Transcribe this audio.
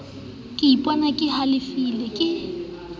ke ipona ke hlalefile ke